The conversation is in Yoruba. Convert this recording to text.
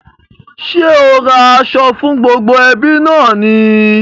Ṣé o ra aṣọ fún gbogbo ẹbí náà ni?